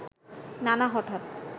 নানা হঠাৎ